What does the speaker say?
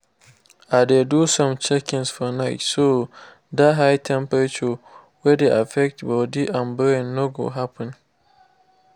i dey do some checkings for night so that high temperature wey dey affects body and brain no go happen